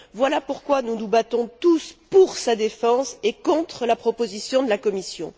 Voilà pourquoi nous nous battons tous pour sa défense et contre la proposition de la Commission.